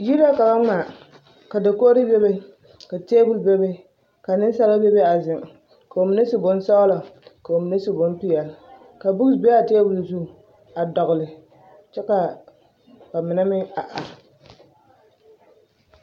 Yiri la ka ba ŋmaa ka dakogiri bebe ka teebol bebe ka nensaaba bebe a zeŋ ka bamine su bonsɔgelɔ ka bamine su bompeɛle ka bukisi be a teebol zuŋ a dɔgele kyɛ ka bamine meŋ a are.